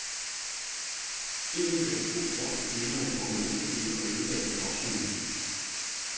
Én kørte fuld rundt i klitterne på en mortorcykel og ødelagde bevoksningen.